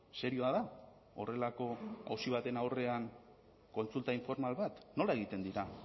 serioa da horrelako auzi baten aurrean kontsulta informal bat nola egiten dira